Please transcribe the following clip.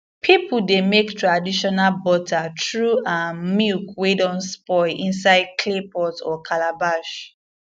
people dey make traditional butter through um milk wey don spoil inside clay pot or calabash